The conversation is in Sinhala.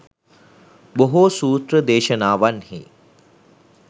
බොහෝ සූත්‍ර දේශනාවන්හි